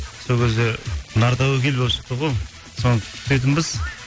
сол кезде нартәуекел болып шықты ғой соны күтетінбіз